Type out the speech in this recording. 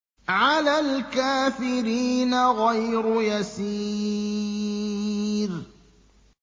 عَلَى الْكَافِرِينَ غَيْرُ يَسِيرٍ